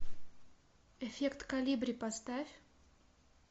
эффект колибри поставь